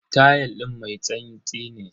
Tayal din mai tsantsi ne.